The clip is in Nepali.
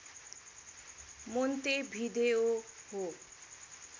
मोन्तेभिदेओ हो